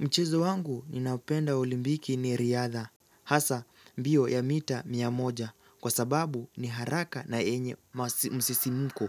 Mchezo wangu ni naoupenda olimpiki ni riadha. Hasa, mbio ya mita mia moja kwa sababu ni haraka na yenye msisimko.